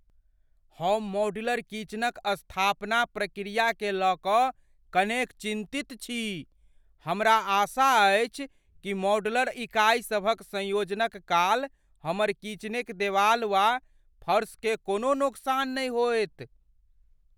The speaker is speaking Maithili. हम मॉड्यूलर किचनक स्थापना प्रक्रियाकेँ लय कऽ कनेक चिन्तित छी। हमरा आशा अछि कि मॉड्यूलर इकाईसभक संयोजनक काल हमर किचेनक देवाल वा फर्शकेँ कोनो नोकसान नहि होएत।